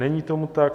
Není tomu tak.